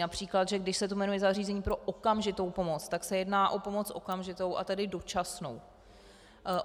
Například že když se to jmenuje zařízení pro okamžitou pomoc, tak se jedná o pomoc okamžitou, a tedy dočasnou.